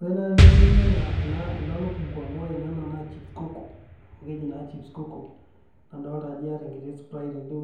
Ore naai peyieu ninya ena lukunku amu ore naa ena naa chips kuku amu keji naa chips kuku nadoolta ajo iyata enkiti Sprite tende,